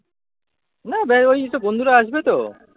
না ওই একটু বন্ধুরা আসবে তো